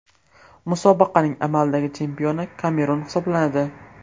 Musobaqaning amaldagi chempioni Kamerun hisoblanadi.